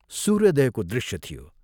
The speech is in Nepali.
सूर्योदयको दृश्य थियो।